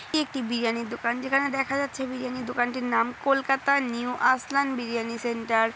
একটি বিরিয়ানি দোকান। যেখানে দেখা যাচ্ছে বিরিয়ানি দোকানটির নাম কলকাতা নিউ আসালান বিরিয়ানি সেন্টার ।